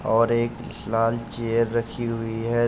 और एक लाल चेयर रखी हुई है।